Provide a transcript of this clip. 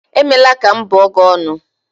Emela ka m bụọ gị ọnụ